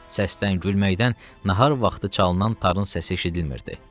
Səsdən, gülməkdən nahar vaxtı çalınan tarın səsi eşidilmirdi.